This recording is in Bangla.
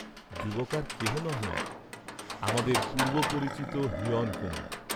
যুবক আর কেহ নহেন আমাদের পূর্ব্বপরিচিত হিরণকুমার।